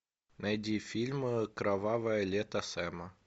найди фильм кровавое лето сэма